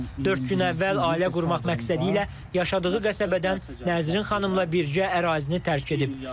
Dörd gün əvvəl ailə qurmaq məqsədilə yaşadığı qəsəbədən Nəzrin xanımla birgə ərazini tərk edib.